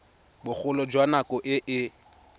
bogolo jwa nako e e